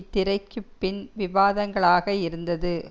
திரைக்கு பின் விவாதங்கங்களாக இருந்தது